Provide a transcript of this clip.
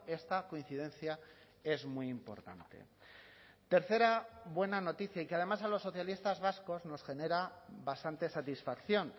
esta coincidencia es muy importante tercera buena noticia y que además a los socialistas vascos nos genera bastante satisfacción